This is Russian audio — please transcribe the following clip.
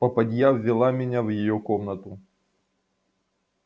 попадья ввела меня в её комнату